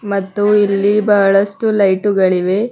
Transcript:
ಮತ್ತು ಇಲ್ಲಿ ಬಹಳಷ್ಟು ಲೈಟು ಗಳಿವೆ.